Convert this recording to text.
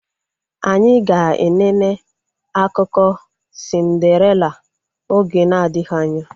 Anyị ga enene akụkọ sindarela oge na adịghị anya